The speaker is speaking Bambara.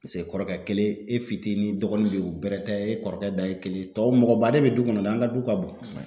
Paseke kɔrɔkɛ kelen e fitinin dɔgɔnin be yen bɛrɛ tɛ e kɔrɔkɛ dan ye kelen tɔw mɔgɔ baden be du kɔnɔ dɛ an ka du ka bon.